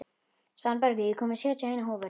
Svanbergur, ég kom með sjötíu og eina húfur!